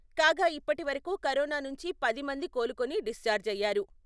కాగా ఇప్పటివరకు కరోనా నుంచి పది మంది కోలుకొని డిశ్చార్జ్ అయ్యారు.